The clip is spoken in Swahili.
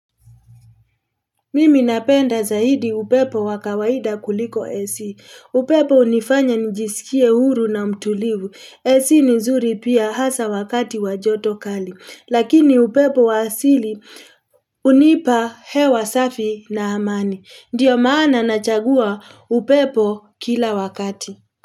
Mimi napenda zaidi upepo wa kawaida kuliko AC. Upepo hunifanya nIjisikie huru na mtulivu. AC ni nzuri pia hasa wakati wa joto kali. Lakini upepo wa asili hunipa hewa safi na amani. Ndiyo maana nachagua upepo kila wakati.